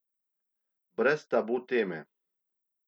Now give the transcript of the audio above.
Brez tabu teme.